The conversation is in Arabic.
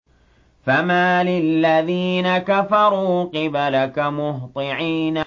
فَمَالِ الَّذِينَ كَفَرُوا قِبَلَكَ مُهْطِعِينَ